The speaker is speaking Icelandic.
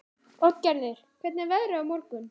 Oddgerður, hvernig er veðrið á morgun?